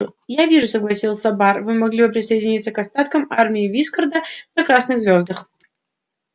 я вижу согласился бар вы могли бы присоединиться к остаткам армии вискарда на красных звёздах